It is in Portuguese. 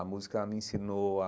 A música me ensinou a...